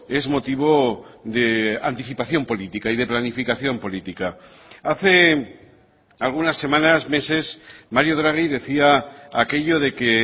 es motivo de anticipación política y de planificación política hace algunas semanas meses mario draghi decía aquello de que